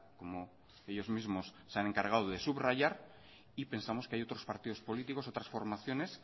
como ellos mismos se han encargado de subrayar y pensamos que hay otros partidos políticos otras formaciones